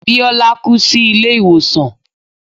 Bíọ́lá kú sí ilé ìwòsàn.